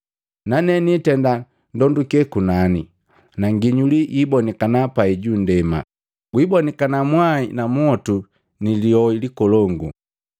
Nane niitenda ndonduke kunani, na nginyuli yiibonikana pai punndema, gwibonikana mwai na motu na liyoi likolongu.